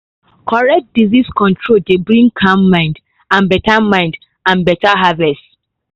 correct disease control dey bring calm mind and better mind and better harvest.